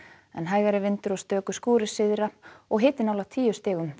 en hægari og stöku skúrir syðra og hiti nálægt tíu stigum þar